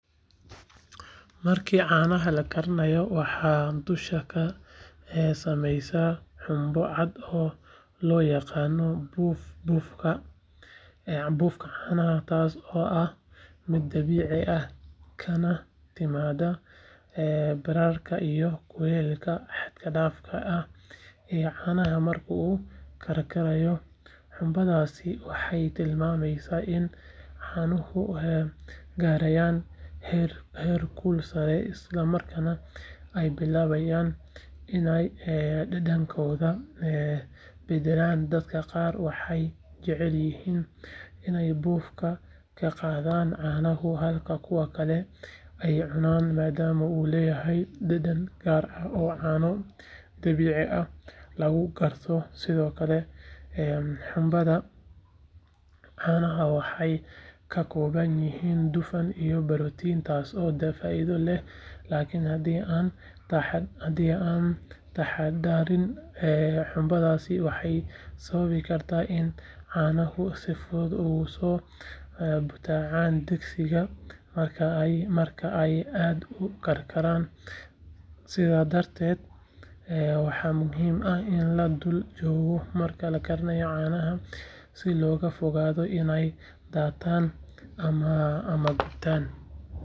Marka caanaha la kariyo waxaa dusha ka samaysma xumbo cad oo loo yaqaan buuf buufka caanaha taasoo ah mid dabiici ah kana timaadda bararka iyo kuleylka xad dhaafka ah ee caanaha marka uu karkarayo xumbadaasi waxay tilmaamaysaa in caanuhu gaarayaan heerkul sare isla markaana ay bilaabayaan inay dhadhankooda beddelaan dadka qaar waxay jecel yihiin inay buufka ka qaadaan caanaha halka kuwa kalena ay cunaan maadaama uu leeyahay dhadhan gaar ah oo caano dabiici ah lagu garto sidoo kale xumbada caanaha waxay ka kooban tahay dufan iyo borotiin taasoo faa’iido leh laakiin haddii aan la taxaddarin xumbadaasi waxay sababi kartaa in caanuhu si fudud uga soo butaacaan digsiga marka ay aad u karsamaan sidaa darteed waxaa muhiim ah in la dul joogo marka la kariyo caanaha si looga fogaado inay daataan ama gubtaan.